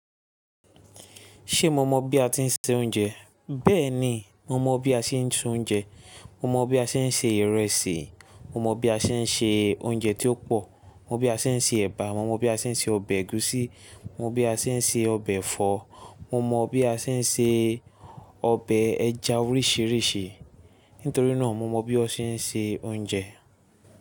Ṣé mo mọ bí a ti ń se oúnjẹ? Bẹ́ẹ̀ ni, mo mọ bí a ṣe ń tu oúnjẹ. Mo mọ bí a ṣe ń se ìrẹsì. Mo mọ bí a ṣe ń se oúnjẹ tí ó pọ̀. Mo mọ bí a ṣe ń se ẹba. Mo mọ bí a ṣe ń se ọbẹ̀ ẹ̀gúsí. Mo mọ bí a ṣe ń se ọbẹ̀ ẹ̀fọ́. Mo mọ bí a ṣe ń se ọbẹ̀ ẹja oríṣiríṣi. Nítorí náà, mo mọ bí wọ́n ṣe ń se oúnjẹ.